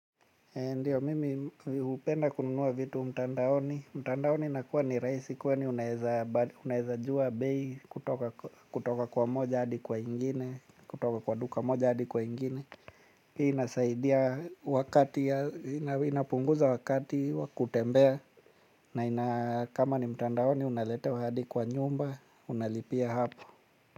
Ndiyo mimi hupenda kununua vitu mtandaoni, mtandaoni inakuwa ni rahisi kwani unaweza jua bei kutoka kwa moja hadi kwa ingine, kutoka kwa duka moja hadi kwa ingine. Hii inasaidia wakati, inapunguza wakati wa kutembea na ina kama ni mtandaoni unaletewa hadi kwa nyumba, unalipia hapo.